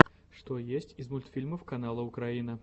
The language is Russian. что есть из мультфильмов канала украина